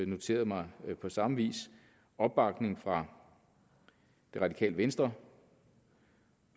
noteret mig på samme vis opbakning fra det radikale venstre